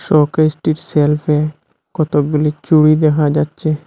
সোকসটির সেলফে কতগুলি চুড়ি দেখা যাচ্ছে।